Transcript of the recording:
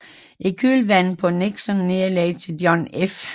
I kølvandet på Nixons nederlag til John F